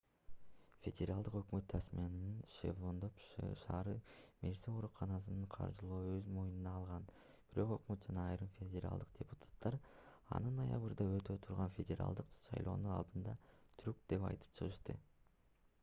федералдык өкмөт тасманиянын девонпорт ш мерси ооруканасын каржылоону өз мойнуна алган бирок өкмөт жана айрым федералдык депутаттар аны ноябрда өтө турган федералдык шайлоонун алдындагы трюк деп айтып чыгышты